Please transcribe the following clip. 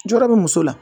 Jɔrɔ be muso la